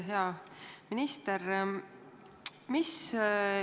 Hea minister!